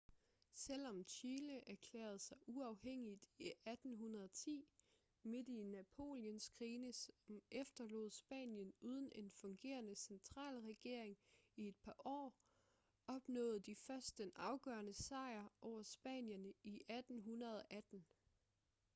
selvom chile erklærede sig uafhængigt i 1810 midt i napoleonskrigene som efterlod spanien uden en fungerende centralregering i et par år opnåede de først den afgørende sejr over spanierne i 1818